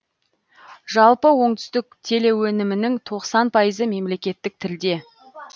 жалпы оңтүстік телеөнімінің тоқсан пайызы мемлекеттік тілде